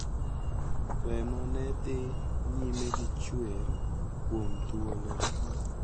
Remo ne dhi nyime gi chuer kuom thuolo,